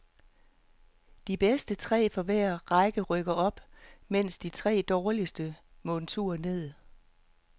De tre bedste fra hver række rykker op, mens de tre dårligste må en tur ned.